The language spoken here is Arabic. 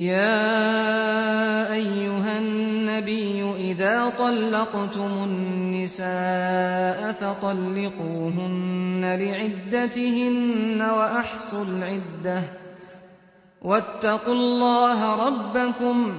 يَا أَيُّهَا النَّبِيُّ إِذَا طَلَّقْتُمُ النِّسَاءَ فَطَلِّقُوهُنَّ لِعِدَّتِهِنَّ وَأَحْصُوا الْعِدَّةَ ۖ وَاتَّقُوا اللَّهَ رَبَّكُمْ ۖ